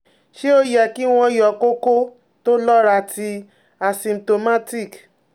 Se o ye ki won yo koko to lora ti asymptomatic?